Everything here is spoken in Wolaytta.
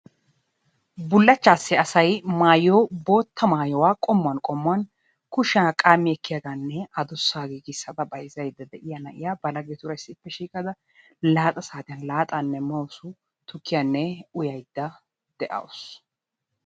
Bullachchaassi asayi maayiyo bootta maayuwa qommuwan qommuwan kushiya qaammi ekkiyagaanne adussaa giigissada bayzzaydda de"iya na"iya ba laggetuura issippe shiiqada laaxa saatiyan laaxaanne mawusu tukkiyanne uyayidda de"awusu.